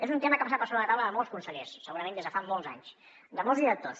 és un tema que ha passat per sobre la taula de molts consellers segurament des de fa molts anys de molts directors